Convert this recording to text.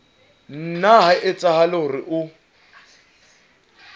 nna ha etsahala hore o